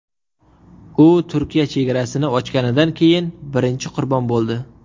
U Turkiya chegarasini ochganidan keyin birinchi qurbon bo‘ldi.